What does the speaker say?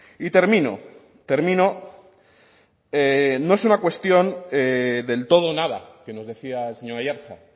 y termino termino no es una cuestión del todo o nada que nos decía el señor aiartza